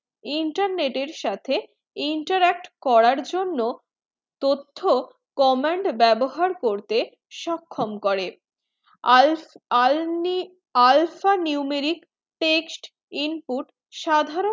internet এর সাথে interact করার জন্য তথ্য comment বেবহার করতে সক্ষম করে al alpha numeric text input সাধারণ